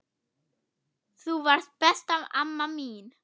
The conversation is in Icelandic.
Þú varst besta amma mín.